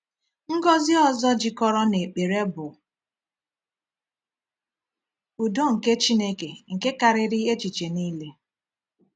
Ngọzi ọzọ jikọrọ na ekpere bụ “udo nke Chineke nke karịrị echiche niile.”